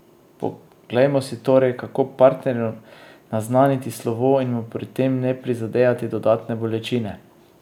Poglejmo si torej, kako partnerju naznaniti slovo in mu pri tem ne prizadejati dodatne bolečine!